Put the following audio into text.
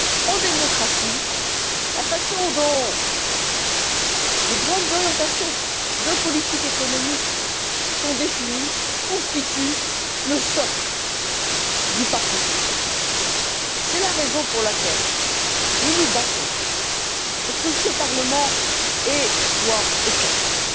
En démocratie, la façon dont les grandes orientations de politique économique sont définies constitue le socle du pacte social. C'est la raison pour laquelle nous nous battons pour que ce Parlement ait voix au chapitre.